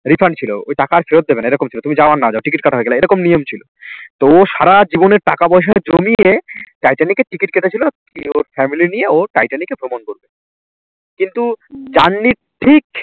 refund ছিল ওই টাকা আর ফেরত দেবে না এরকম ছিল তুমি যাও আর না যাও ticket কাটা হয়ে গেলে এরকম নিয়ম ছিল। তো সারা জীবনের টাকা পয়সা জমিয়ে টাইটানিকের ticket কেটেছিল কি ওর family নিয়ে ও টাইটানিকে ভ্রমণ করবে কিন্তু journey র ঠিক